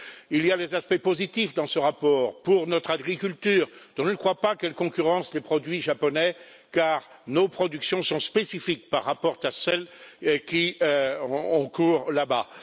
Il y a des aspects positifs dans ce rapport pour notre agriculture, dont je ne crois pas qu'elle concurrence les produits japonais, car nos productions sont spécifiques par rapport à celles qui ont cours là bas.